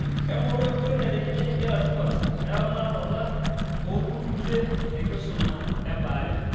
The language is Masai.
Engoru nkoitoi naiteng'enieki nkera tipat eramatata oo nkutukie tenkisuma ebaare.